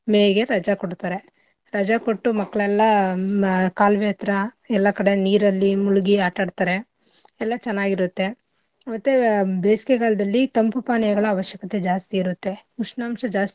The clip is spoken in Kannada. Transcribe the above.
May ಗೆ ರಜಾ ಕೊಡ್ತರೆ ರಜಾ ಕೊಟ್ಟು ಮಕ್ಳೆಲ್ಲಾ ಮ~ ಕಾಲುವೆ ಹತ್ರ ಎಲ್ಲಾ ಕಡೆ ನೀರಲ್ಲಿ ಮುಳ್ಗಿ ಆಟಾಡ್ತರೆ ಎಲ್ಲಾ ಚೆನ್ನಾಗಿ ಇರತ್ತೆ. ಮತ್ತೆ ಬೇಸಿಗೆಗಾಲದಲ್ಲಿ ತಂಪು ಪಾನೀಯಗಳ ಅವಶ್ಯಕತೆ ಜಾಸ್ತಿ ಇರುತ್ತೆ ಉಷ್ಣಾಂಶ ಜಾಸ್ತಿ.